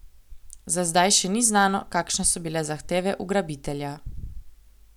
Za zdaj še ni znano, kakšne so bile zahteve ugrabitelja.